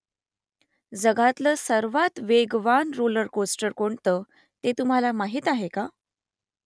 जगातलं सर्वात वेगवान रोलर कोस्टर कोणतं ते तुम्हाला माहीत आहे का ?